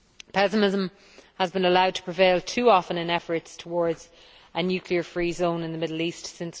Pessimism has been allowed to prevail too often in efforts towards a nuclear free zone in the Middle East since